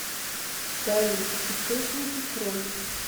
салют источники кроль